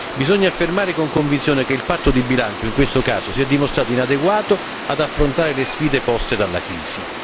Bisogna affermare con convinzione che il patto di bilancio, in questo caso, si è dimostrato inadeguato ad affrontare le sfide poste dalla crisi.